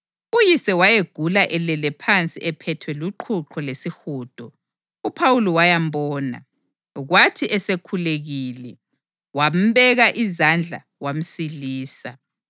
Uyise wayegula elele phansi ephethwe luqhuqho lesihudo. UPhawuli wayambona, kwathi esekhulekile, wambeka izandla wamsilisa.